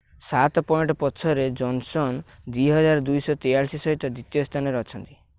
7 point ପଛରେ Johnson 2,243 ସହିତ ଦ୍ଵିତୀୟ ସ୍ଥାନରେ ଅଛନ୍ତି